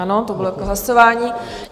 Ano, to bylo k hlasování.